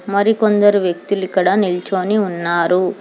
మరికొందరు వ్యక్తులు ఇక్కడ నిల్చోని ఉన్నారు.